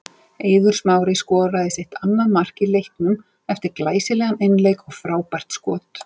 Eiður Smári skorar sitt annað mark í leiknum eftir glæsilegan einleik og frábært skot.